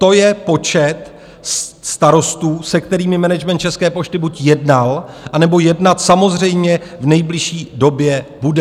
To je počet starostů, se kterými management České pošty buď jednal, anebo jednat samozřejmě v nejbližší době bude.